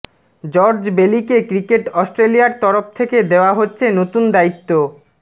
George বেলিকে cricket অস্ট্রেলিয়ার তরফ থেকে দেওয়া হচ্ছে নতুন দায়িত্ব